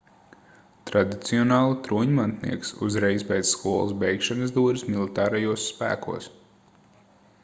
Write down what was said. tradicionāli troņmantnieks uzreiz pēc skolas beigšanas dodas militārajos spēkos